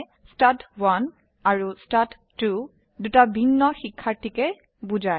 ষ্টাড1 আৰু ষ্টাড2 দুটি ভিন্ন শিক্ষাৰ্থীকে বোঝায়